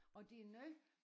Og det noget